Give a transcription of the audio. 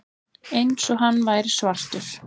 Eins og hann væri svartur.